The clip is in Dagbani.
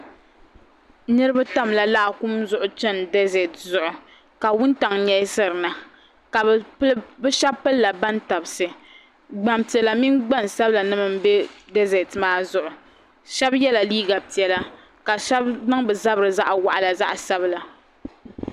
Niriba tamla laakum zuɣu chɛni dazɛti zuɣu ka wuntaŋ yɛlisiri na bi shɛba pili la bantabisi gbaŋ piɛlla mini gbaŋ sabila n bɛ dazɛti maa zuɣu shɛba yiɛla liiga piɛlla ka shɛba niŋ bi zabei zaɣi wɔɣila zaɣi sabila.